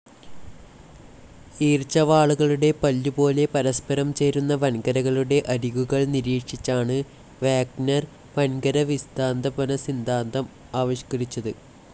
ഈർച്ചവാളുകളുടെ പല്ലുപോലെ പരസ്പരം ചേരുന്ന വൻകരകളുടെ അരികുകൾ നിരീക്ഷിച്ചാണ് വാഗ്നർ വൻകര വിസ്താപനസിദ്ധാന്തം ആവിഷ്ക്കരിച്ചത്.